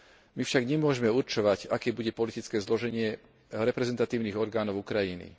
My však nemôžeme určovať, aké bude politické zloženie reprezentatívnych orgánov Ukrajiny.